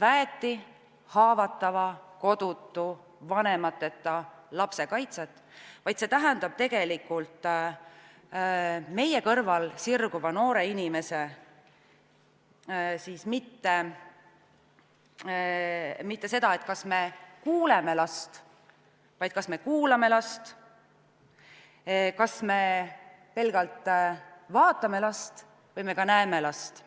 väeti, haavatava, kodutu, vanemateta lapse kaitset, vaid see tähendab, et meie kõrval sirguvad noored inimesed, see ei tähenda mitte seda, kas me kuuleme last, vaid seda, kas me kuulame last, kas me pelgalt vaatame last või me ka näeme last.